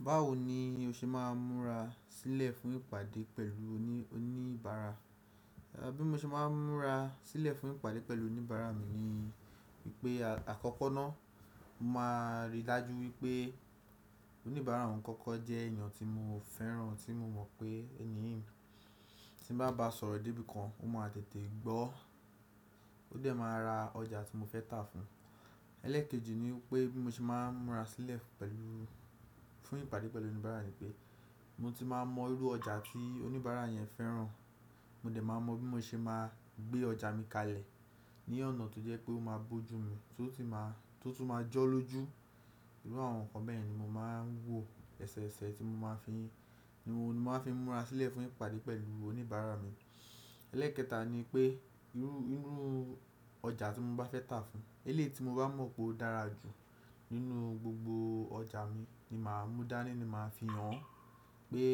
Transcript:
Báwo ni o ṣe máa ń múra sílẹ̀ fún ìpàdé pẹ̀lú oníbàárà? Bí mo ṣe máa ń múra sílẹ̀ fún ìpàdé pẹ̀lú oníbàárà mi ni wípé àkọ́kọ́ náà, mo máa rí i lájú wípé oníbàárà ọ̀ ún kọ́kọ́ jẹ́ èèyàn tí mo fẹ́ràn, tí mo mọ̀ pé ẹni tí bá ba sọ̀rọ̀ dé bí kan, ó máa tètè gbọ́. Ó dẹ̀ máa ra ọjà tí mo fẹ́ tà fún un. Ẹ́lẹ́kejì ni pé bí mo ṣe máa ń múra sílẹ̀ fún ìpàdé pẹ̀lú oníbàárà ni pé mo ti máa mọ irú ọjà tí oníbàárà yẹn fẹ́ràn. Mo dẹ̀ máa mọ bí mo ṣe máa gbé ọjà mi kalẹ̀ ní ọ̀nà tó jẹ́ pé ó máa bójú mi tó tún máa jọ́lọ́jú. Irú àwọn nǹkan bẹ́ẹ̀ ni mo máa ń wò. Èṣèṣe tí mo máa fi ni wọ́n ni mo máa fi ń múra sílẹ̀ fún ìpàdé pẹ̀lú oníbàárà mi. Ẹlẹ́ẹ̀kẹta ni pé irú ọjà tí mo bá fẹ́ tà fún un, elé tí mo bá mọ̀ pé ó dára jù nínú gbogbo ọjà mi ni màá mú dání ni màá fi hàn pé,